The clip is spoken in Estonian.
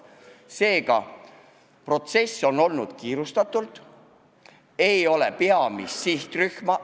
Seega, protsess on kulgenud kiirustatult, ei ole kaasatud peamist sihtrühma.